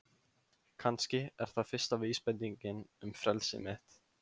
Kannski er það fyrsta vísbendingin um frelsi mitt.